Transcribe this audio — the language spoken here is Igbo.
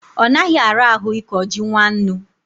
onaghi arahu iko ji nwannu